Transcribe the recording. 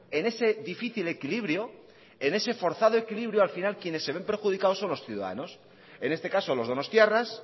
en ese difícil equilibrio en ese forzado equilibrio al final quienes se ven perjudicados son los ciudadanos en este caso los donostiarras